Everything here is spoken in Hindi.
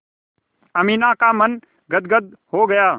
अमीना का मन गदगद हो गया